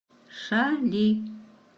шали